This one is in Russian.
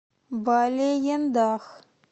балеендах